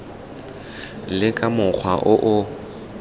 le ka mokgwa o o